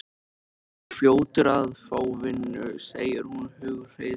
Þú verður fljótur að fá vinnu, segir hún hughreystandi.